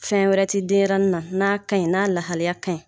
Fɛn wɛrɛ ti denɲɛrɛnin n'a ka ɲi n'a lahaliya ka ɲi.